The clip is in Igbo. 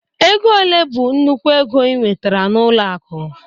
Ego ole bụ nnukwu ego ị nwetara na ọlụ akụ?